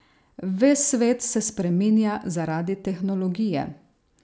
Ves svet se spreminja zaradi tehnologije.